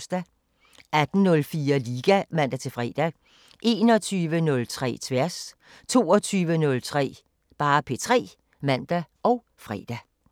18:04: Liga (man-fre) 21:03: Tværs 22:03: P3 (man og fre)